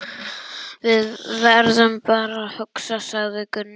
Við verðum bara að hugsa, sagði Gunni.